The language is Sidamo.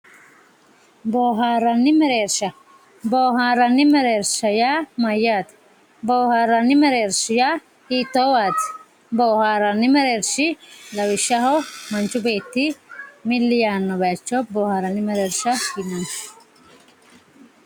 bohaaranni mereersha bohaaranni mereersha yaa mayaate bohaaranni mereershi yaa hiitoowaati bohaaranni mereershi lawishshaho manchu beetti milli yaanowa bohaaranni mereersha yinanni.